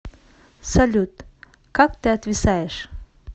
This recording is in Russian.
салют как ты отвисаешь